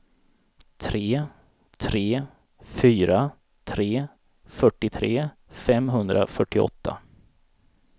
tre tre fyra tre fyrtiotre femhundrafyrtioåtta